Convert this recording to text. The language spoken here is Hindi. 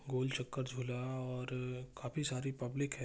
गोल चक्कर झूला और काफी सारी पब्लिक है।